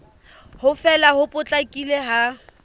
ho fela ho potlakileng ha